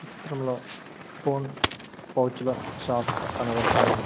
చిత్రంలో ఫోన్ పౌచుల షాప్ కనబడుతున్నది.